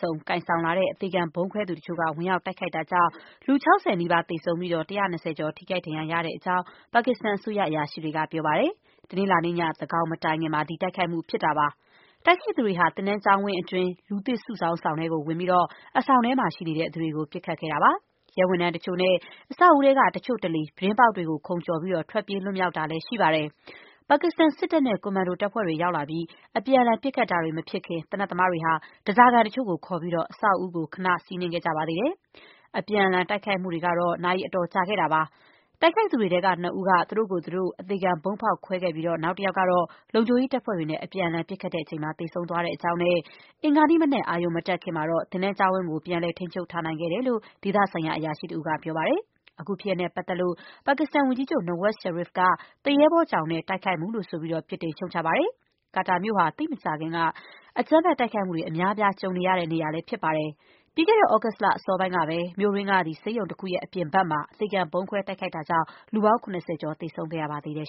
စုံ ကိုင်ဆောင်လာတဲ့ အသေခံဗုံးခွဲသူတချို့ ဝင်ရောက် တိုက်ခိုက်တာကြောင့် လူ ၆၀ နီးပါး သေဆုံးပြီး ၁၂၀ ကျော် ထိခိုက် ဒဏ်ရာရတဲ့အကြောင်း ပါကစ္စတန် အစိုးရ အရာရှိတွေက ပြောပါတယ်။ တနင်္လာနေ့ည သန်းခေါင်မတိုင်ခင်မှာ ဒီတိုက်ခိုက်မှုဖြစ်တာပါ။ တိုက်ခိုက်သူတွေဟာ သင်တန်း ကျောင်းဝန်းအတွင်း လူသစ်စုဆောင်းဆောင် ထဲကို ဝင်ပြီး အဆောင်ထဲမှာရှိနေတဲ့ သူတွေကို ပစ်ခတ်ခဲ့တာပါ။ ရဲဝန်ထမ်းတချို့နဲ့ အဆောက်အဦးထဲက တချို့တလေ ပြတင်းပေါက်တွေကို ခုန်ကျော်ပြီး ထွက်ပြေးလွှတ်မြောက်သွားတာလည်း ရှိပါတယ်။ ပါကစ္စတန် စစ်တပ်နဲ့ ကွန်မန်ဒိုတပ်ဖွဲ့တွေ ရောက်လာပြီး အပြန်အလှန်ပစ်ခတ်တာတွေ မဖြစ်ခင် သေနတ်သမားတွေဟာ ဓါးစားခံတချို့ကို ခေါ်ပြီး အဆောက်အဦးကို ခဏ စီးနင်းခဲ့ကြပါသေးတယ်။ အပြန်အလှန် တိုက်ခိုက်မှုတွေကတော့ နာရီအတော်ကြာခဲ့တာပါ။ တိုက်ခိုက်သူတွေထဲက နှစ်ဦးက သူတို့ကိုယ်သူတို့ အသေခံ ဗုံးဖောက်ခွဲခဲ့ပြီး နောက်တယောက်ကတော့ လုံခြုံရေးတပ်ဖွဲ့တွေနဲ့ အပြန်အလှန် ပစ်ခတ်ချိန်မှာ သေဆုံး သွားတဲ့အကြောင်းနဲ့ အင်္ဂါနေ့မနက် အရုံမတက်ခင်မှာတော့ သင်တန်းကျောင်းဝင်းကို ပြန်လည် ထိန်းချုပ်နိုင်ခဲ့တယ်လို့ ဒေသဆိုင်ရာ အရာရှိတဦးက ပြောပါတယ်။ အခုဖြစ်ရပ်နဲ့ပတ်သက်လို့ ပါကစ္စတန်ဝန်ကြီးချုပ် Nawaz Sharif က သူရဲဘောကြောင်တဲ့ တိုက်ခိုက်မှုလို့ ဆိုပြီး ပြစ်တင်ရှုတ်ချပါတယ်။ Quetta မြို့ဟာ သိပ်မကြာခင်က အကြမ်းဖက်တိုက်ခိုက်မှုတွေ အများအပြား ကြုံခဲ့ရတဲ့နေရာပါ။ ပြီးခဲ့တဲ့ သြဂုတ်လ အစောပိုင်းကပဲ မြို့တွင်းက ဆေးရုံတခုရဲ့ အပြင်ဘက်မှာ အသေခံ ဗုံးခွဲတိုက်ခိုက်ခံရတာကြောင့် လူပေါင်း ၇၀ ကျော် သေဆုံးခဲ့ရပါတယ်